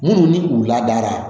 Minnu ni u ladara